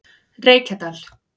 Reykjadal